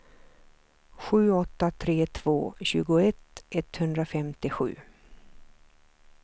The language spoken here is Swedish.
sju åtta tre två tjugoett etthundrafemtiosju